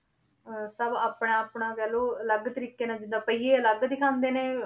ਅਹ ਸਭ ਆਪਣਾ ਆਪਣਾ ਕਹਿ ਲਓ ਅਲੱਗ ਤਰੀਕੇ ਨਾਲ ਜਿੱਦਾਂ ਪਹੀਏ ਅਲੱਗ ਦਿਖਾਉਂਦੇ ਨੇ।